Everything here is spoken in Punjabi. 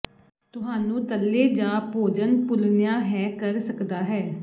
ਤੁਹਾਨੂੰ ਤਲੇ ਜ ਭੋਜਨ ਭੁੰਲਨਆ ਹੈ ਕਰ ਸਕਦਾ ਹੈ